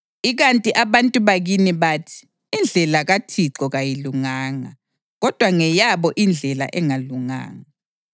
Ikanti abantu bakini bathi, ‘Indlela kaThixo kayilunganga.’ Kodwa ngeyabo indlela engalunganga.